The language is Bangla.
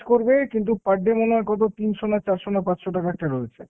করবে কিন্তু per day মনে হয় কত তিনশো না চারশো না পাঁচশো টাকার টা রয়েছে।